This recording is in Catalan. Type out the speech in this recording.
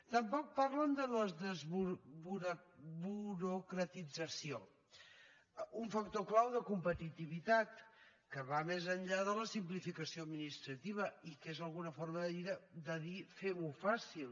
tampoc parlen de la desburocratització un factor clau de competitivitat que va més enllà de la simplificació administrativa i que és una forma de dir femho fàcil